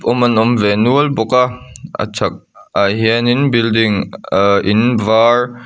awm an awm ve nual bawk a a chhakah hianin building ahh in vâr--